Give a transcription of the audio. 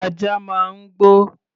Ajá máa ń gbó.